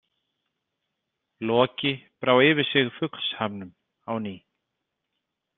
Loki brá yfir sig fuglshamnum á ný.